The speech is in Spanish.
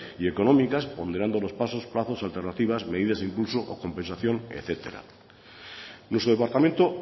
y económicas ponderando los pasos plazos medidas alternativas medidas incluso compensación etcétera nuestro departamento